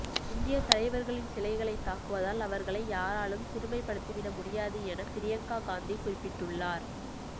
இந்திய தலைவர்களின் சிலைகளை தாக்குவதால் அவர்களை யாராலும் சிறுமைப்படுத்திவிட முடியாது என பிரியங்கா காந்தி குறிப்பிட்டுள்ளார்